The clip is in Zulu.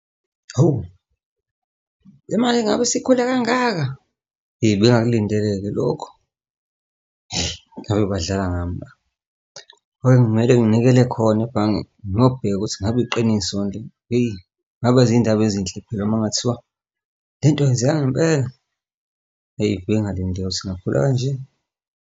Hawu, le mali ingabe sikhule kangaka, eyi, nengakulindele-ke lokhu, ngabe badlala ngami la, manje kmele nginikele khona ebhange ngiyobheka ukuthi ngabe iqiniso yini, hheyi, ngabe iy'ndaba ezinhle phela uma kungathiwa lento yenzeka ngempela, eyi, bengalindele ukuthi ingakhula kanje.